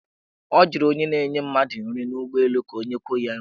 Ọ jụrụ onye na-enye mmadụ nri n' ụgbọelụ ka o nyekwuo ya nri.